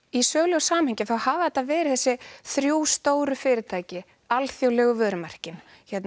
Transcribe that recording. í sögulegu samhengi hafa þetta verið þessi þrjú stóru fyrirtæki alþjóðlegu vörumerkin